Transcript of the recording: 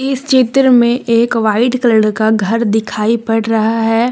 इस चित्र में एक व्हाइट कलर का घर दिखाई पड़ रहा है।